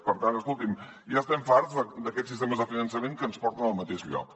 per tant escolti’m ja estem farts d’aquests sistemes de finançament que ens porten al mateix lloc